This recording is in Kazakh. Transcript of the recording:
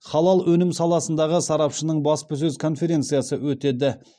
халал өнім саласындағы сарапшының баспасөз конференциясы өтеді